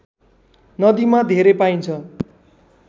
नदीमा धेरै पाइन्छ